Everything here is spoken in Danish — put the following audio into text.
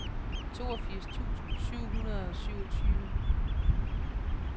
toogfirs tusind syv hundrede og syvogtyve